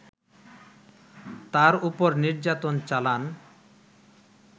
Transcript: তার ওপর নির্যাতন চালান